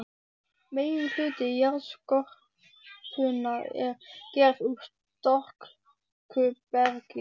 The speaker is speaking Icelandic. Meginhluti jarðskorpunnar er gerður úr storkubergi.